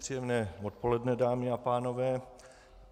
Příjemné odpoledne, dámy a pánové.